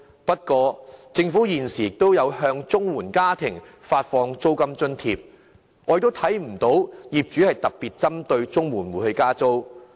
不過，政府現時亦有向綜援家庭發放租金津貼，但不見得有業主特別針對綜援戶加租。